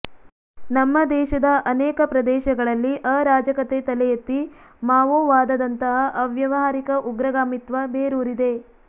ನಮ್ಮ ದೇಶದ ಅನೇಕ ಪ್ರದೇಶಗಳಲ್ಲಿ ಅರಾಜಕತೆ ತಲೆಯೆತ್ತಿ ಮಾವೋವಾದದಂತಹ ಅವ್ಯವಹಾರಿಕ ಉಗ್ರಗಾಮಿತ್ವ ಬೇರೂರಿದೆ